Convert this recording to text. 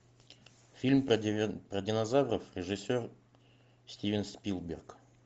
фильм про динозавров режиссер стивен спилберг